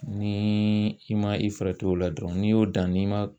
Nii i ma i farati o la dɔrɔn n'i y'o dan n'i ma